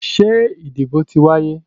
Ṣé ìdìbò ti wáyé?